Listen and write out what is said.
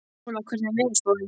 Óla, hvernig er veðurspáin?